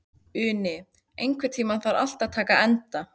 Uni, einhvern tímann þarf allt að taka enda.